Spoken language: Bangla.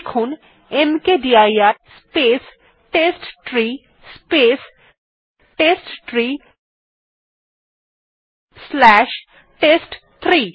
লিখুন mkdir space test three space test three slash test three